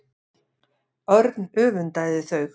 Örn öfundaði þau.